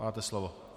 Máte slovo.